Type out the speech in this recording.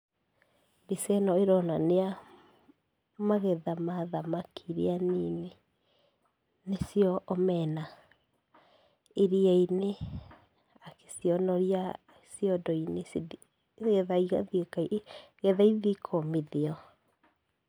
Mbica ĩno ĩronania magetha ma thamaki iria nini, nĩ cio omena, iria-inĩ, agĩcionoria ciondo-inĩ, cithi nĩgetha ithiĩ, nĩgetha ithi ikomithio.